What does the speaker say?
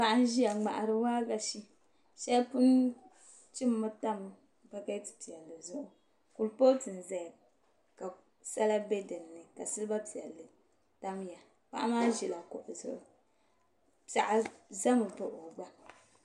Paɣa n ʒiya n ŋmahari waagashe shɛli pun chimmmi tam bakɛt pilli zuɣu kuripooti n ʒɛya ka sala bɛ dinni ka silba piɛlli tamya paɣa maa ʒila kuɣu zuɣu piɛɣu ʒɛmi baɣa o gba